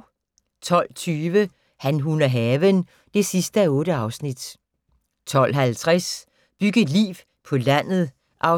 12:20: Han, hun og haven (8:8) 12:50: Byg et liv på landet (4:12)